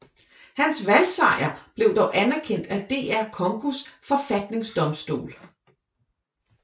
Hans valgsejr blev dog anerkendt af DR Congos forfatningsdomstol